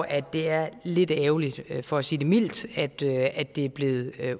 at det er lidt ærgerligt for at sige det mildt at det at det er blevet